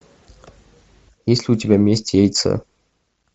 есть ли у тебя месть яйца